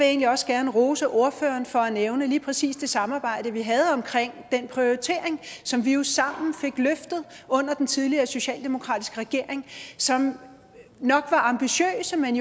egentlig også gerne rose ordføreren for at nævne lige præcis det samarbejde vi havde omkring den prioritering som vi jo sammen fik løftet under den tidligere socialdemokratiske regering som nok var ambitiøs men